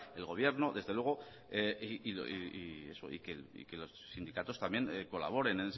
el gobierno desde luego y eso y que los sindicatos también colaboren